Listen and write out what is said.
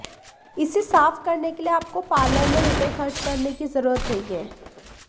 इसे साफ करने के लिए आपको पार्लर में रुपए खर्च करने की जरुरत नहीं है